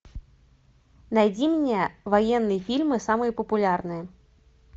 найди мне военные фильмы самые популярные